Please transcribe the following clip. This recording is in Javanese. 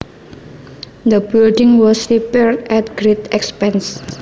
The building was repaired at great expense